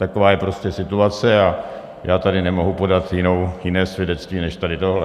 Taková je prostě situace a já tady nemohu podat jiné svědectví než tady tohle.